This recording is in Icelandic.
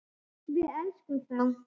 Við elskum þá.